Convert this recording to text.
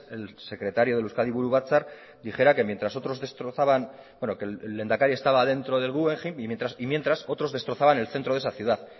el secretario del euskadi buru batzar dijera que mientras otros destrozaban bueno que el lehendakari estaba dentro del guggenheim y mientras otros destrozaban el centro de esa ciudad